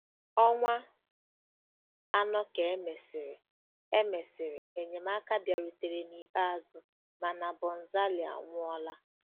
Ọnwa anọ ka e mesịrị, e mesịrị, enyemaka bịarutere n'ikpeazụ, mana Bonzali anwụọla.